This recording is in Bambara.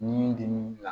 Ni min dimin'i la